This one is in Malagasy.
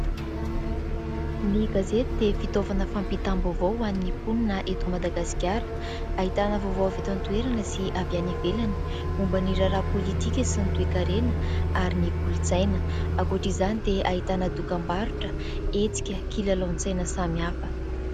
Ny gazety dia fitaovana fampitam-baovao ho an'ny mponina eto Madagasikara ; ahitana vaovao avy eto an-toerana sy avy any ivelany. Momba ny raharaha politika sy ny toe-karena ary ny kolontsaina. Ankoatra izany dia ahitana dokam-barotra, hetsika, kilalaon-tsaina samy hafa.